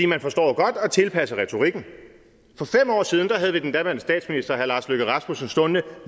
man forstår jo godt at tilpasse retorikken for fem år siden havde vi den daværende statsminister herre lars løkke rasmussen stående